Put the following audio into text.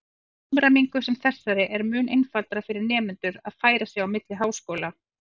Með samræmingu sem þessari er mun einfaldara fyrir nemendur að færa sig á milli háskóla.